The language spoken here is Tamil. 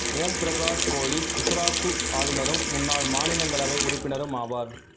ஓம் பிரகாஷ் கோலி குசராத்து ஆளுநரும் முன்னாள் மாநிலங்களவை உறுப்பினரும் ஆவார்